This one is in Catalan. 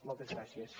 moltes gràcies